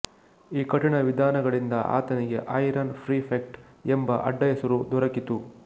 ಈ ಕಠಿಣ ವಿಧಾನಗಳಿಂದ ಆತನಿಗೆ ಐರನ್ ಪ್ರಿಫೆಕ್ಟ್ ಎಂಬ ಅಡ್ಡಹೆಸರು ದೊರಕಿತು